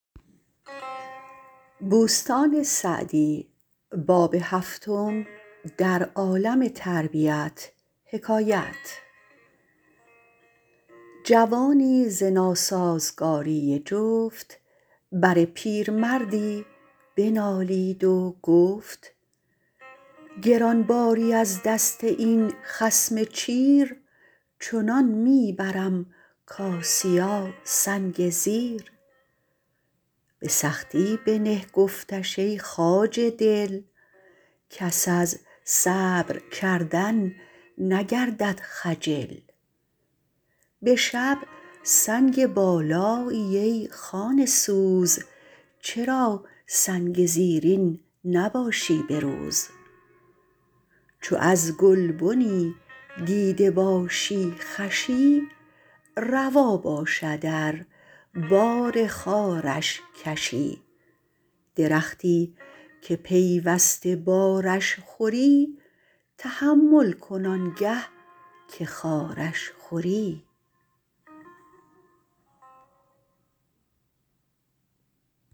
جوانی ز ناسازگاری جفت بر پیرمردی بنالید و گفت گران باری از دست این خصم چیر چنان می برم کآسیاسنگ زیر به سختی بنه گفتش ای خواجه دل کس از صبر کردن نگردد خجل به شب سنگ بالایی ای خانه سوز چرا سنگ زیرین نباشی به روز چو از گلبنی دیده باشی خوشی روا باشد ار بار خارش کشی درختی که پیوسته بارش خوری تحمل کن آنگه که خارش خوری